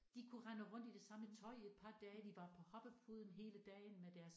De kunne rende rundt i det samme tøj et par dage de var på hoppepuden hele dagen med deres